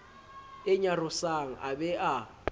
e nyarosang a be a